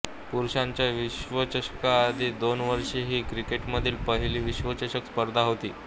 पुरुषांच्या विश्वचषकाआधी दोन वर्षे ही क्रिकेटमधील पहिली विश्वचषक स्पर्धा होती